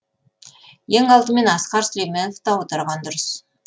ең алдымен асқар сүлейменовты аударған дұрыс